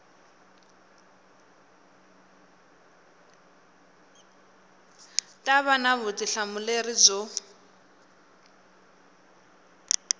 ta va na vutihlamuleri byo